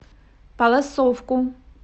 палласовку